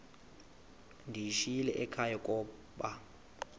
ndiyishiyile ekhaya koba